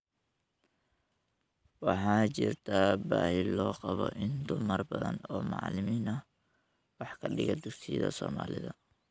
Waxaa jirta baahi loo qabo in dumar badan oo macalimiin ah wax ka dhiga dugsiyada Soomaalida.